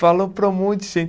Falou para um monte de gente.